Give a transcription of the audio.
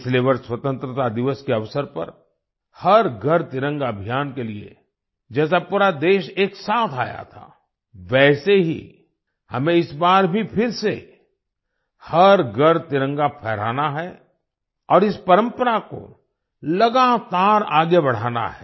पिछले वर्ष स्वतंत्रता दिवस के अवसर पर हर घर तिरंगा अभियान के लिए जैसे पूरा देश एक साथ आया था वैसे ही हमें इस बार भी फिर से हर घर तिरंगा फहराना है और इस परंपरा को लगातार आगे बढ़ाना है